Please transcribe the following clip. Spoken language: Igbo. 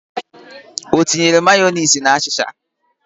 O tinyere Mayọnesị na achịcha?